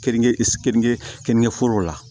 Keninke keninke keninke foro la